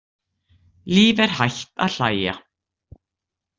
Líf er hætt að hlæja.